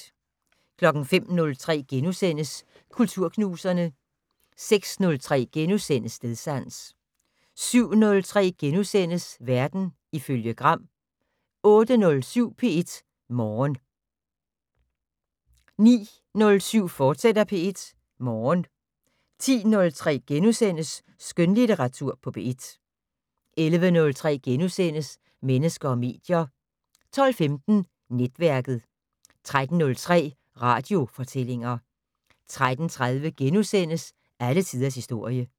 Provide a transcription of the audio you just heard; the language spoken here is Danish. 05:03: Kulturknuserne * 06:03: Stedsans * 07:03: Verden ifølge Gram * 08:07: P1 Morgen 09:07: P1 Morgen, fortsat 10:03: Skønlitteratur på P1 * 11:03: Mennesker og medier * 12:15: Netværket 13:03: Radiofortællinger 13:30: Alle tiders historie *